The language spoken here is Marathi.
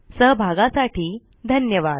सहभागासाठी धन्यवाद